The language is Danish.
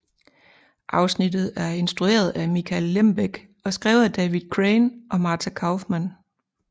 Afsnittet er instrueret af Michael Lembeck og skrevet af David Crane og Marta Kauffman